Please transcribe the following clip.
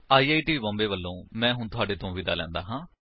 I I T Bombay ਵਲੋਂ ਮੈਂ ਹੁਣ ਤੁਹਾਡੇ ਤੋਂ ਵਿਦਾ ਲੈਂਦਾ ਹਾਂ